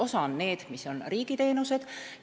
Osa on riigiteenused.